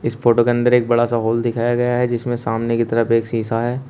इस फोटो के अंदर एक बड़ा सा हॉल दिखाया गया है जिसमें सामने की तरफ एक शीशा है।